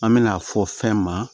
An me n'a fɔ fɛn ma